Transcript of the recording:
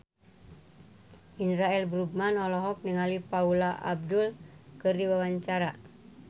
Indra L. Bruggman olohok ningali Paula Abdul keur diwawancara